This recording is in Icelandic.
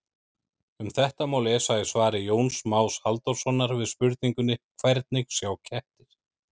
Um þetta má lesa í svari Jóns Más Halldórssonar við spurningunni Hvernig sjá kettir?